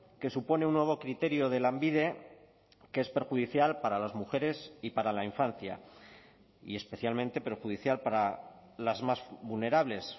que supone un nuevo criterio de lanbide que es perjudicial para las mujeres y para la infancia y especialmente perjudicial para las más vulnerables